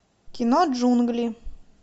кино джунгли